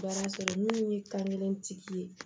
Baara sɔrɔ minnu ye kan kelen tigi ye